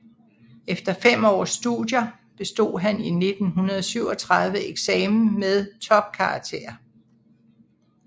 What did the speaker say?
Efter fem års studier bestod han i 1937 eksamen med topkarakterer